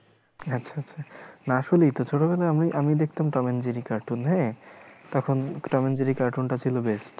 আচ্ছা আচ্ছা না আসলেইতো ছোট বেলায় আমি আমি দেখতাম Tom and Jerry cartoon হ্যাঁ তখন tom and jerry cartoon টা ছিল best